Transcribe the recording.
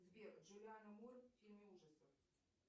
сбер джулиана мур в фильме ужасов